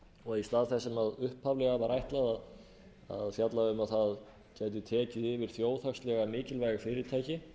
og að í stað þess sem upphaflega var ætlað að fjalla um að það gæti tekið yfir þjóðhagslega mikilvæg fyrirtæki